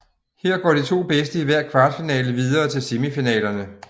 Her går de to bedste i hver kvartfinale videre til semifinalerne